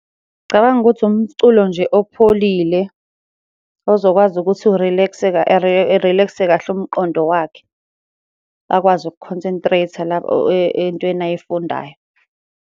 Ngicabanga ukuthi umculo nje opholile ozokwazi ukuthi urilekse erilekse kahle umqondo wakhe. Akwazi ukukhonsentreyitha la entweni ayifundayo.